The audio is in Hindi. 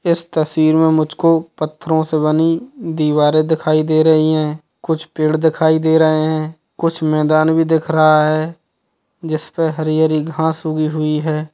इस तस्वीर मे मुझको पत्थरों से बनी दीवारे दिखाई दे रही है कुछ पेड़ दिखाई दे रहे हैं कुछ मैदान भी दिख रहा हैं जिस पे हरी हरी घास उगि हुई हैं।